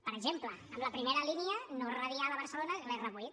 per exemple amb la primera línia no radial a barcelona l’r8